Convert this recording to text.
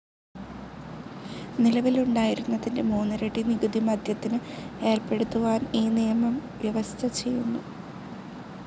നിലവിലുണ്ടായിരുന്നതിന്റെ മൂന്നിരട്ടി നികുതി മദ്യത്തിന് ഏർപ്പെടുത്തുവാൻ ഈ നിയമം വ്യവസ്ഥ ചെയ്യുന്നു.